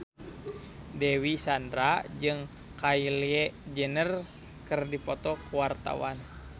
Dewi Sandra jeung Kylie Jenner keur dipoto ku wartawan